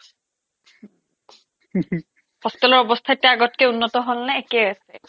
hostel ৰ অৱস্থা এতিয়া আগতকৈ উন্নত হ'ল নে একেই আছে